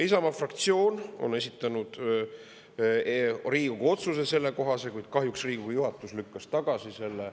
Isamaa fraktsioon on esitanud sellekohase Riigikogu otsuse, kuid kahjuks lükkas Riigikogu juhatus selle tagasi.